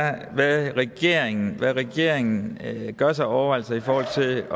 er hvad regeringen hvad regeringen gør sig af overvejelser i forhold til